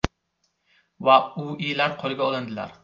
va U.I.lar qo‘lga olindilar.